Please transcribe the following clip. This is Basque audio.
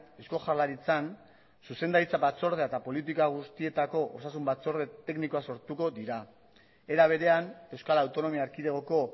eusko jaurlaritzan zuzendaritza batzordea eta politika guztietako osasun batzorde teknikoak sortuko dira era berean euskal autonomia erkidegoko